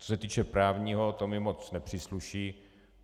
Co se týče právního, to mi moc nepřísluší.